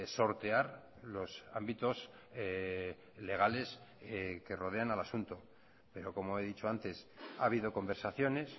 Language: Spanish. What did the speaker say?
sortear los ámbitos legales que rodean al asunto pero como he dicho antes ha habido conversaciones